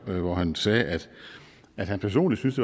hvor han sagde at han personligt synes